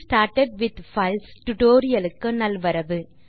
getting started with files tutorial க்கு நல்வரவு